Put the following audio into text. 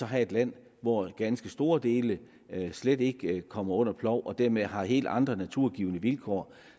have et land hvor ganske store dele slet ikke kommer under plov og dermed har helt andre naturgivne vilkår